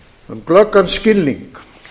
um glöggan skilning